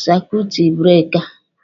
saikuitu breeka.